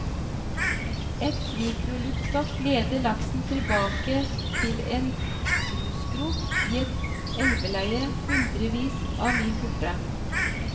Et mikroluktstoff leder laksen tilbake til en grusgrop i et elveleie hundrevis av mil borte.